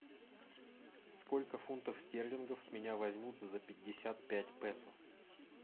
сколько фунтов стерлингов с меня возьмут за пятьдесят пять песо